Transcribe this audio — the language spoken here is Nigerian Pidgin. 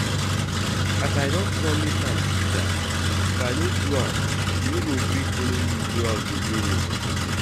As I don promise am pizza, if I no do am she no go gree follow me go out again